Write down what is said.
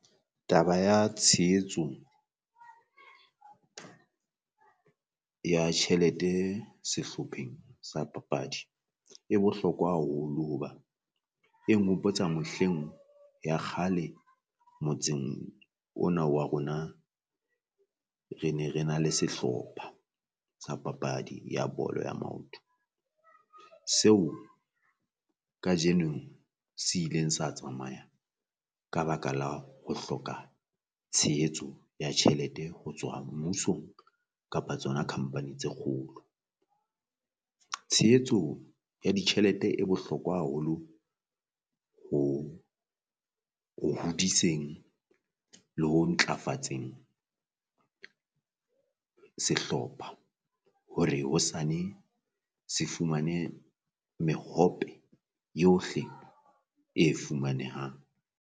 Taba ya tshehetso ya tjhelete sehlopheng sa papadi e bohlokwa haholo hoba, e nghopotsa mehleng ya kgale motseng ona wa rona re ne re na le sehlopha sa papadi ya bolo ya maoto. Seo kajeno se ileng sa tsamaya ka baka la ho hloka tshehetso ya tjhelete ho tswa mmusong kapa tsona company tse kgolo. Tshehetso ya ditjhelete e bohlokwa haholo ho ho hodiseng le ho ntlafatseng sehlopha hore hosane se fumane mehope yohle e fumanehang.